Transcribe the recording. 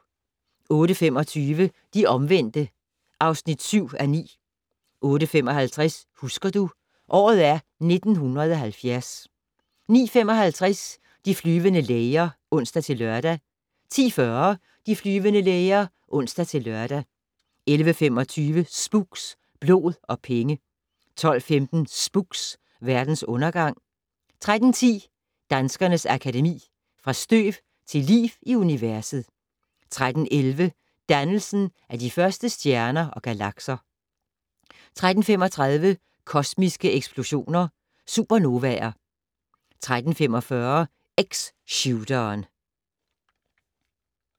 08:25: De omvendte (7:9) 08:55: Husker du - året er 1970 09:55: De flyvende læger (ons-lør) 10:40: De flyvende læger (ons-lør) 11:25: Spooks: Blod og penge 12:15: Spooks: Verdens undergang 13:10: Danskernes Akademi: Fra støv til liv i universet 13:11: Dannelsen af de første stjerner og galakser 13:35: Kosmiske eksplosioner - Supernovaer 13:45: X-shooteren